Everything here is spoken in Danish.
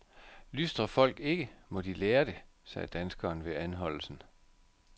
Lystrer folk ikke, må de lære det, sagde danskeren ved anholdelsen.